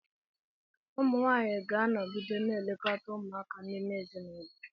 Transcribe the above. Ụmụ nwaanyị ga-anọgide na-elekọta ụmụaka n'ime ezinụlọ.